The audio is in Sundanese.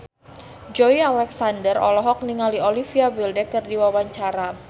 Joey Alexander olohok ningali Olivia Wilde keur diwawancara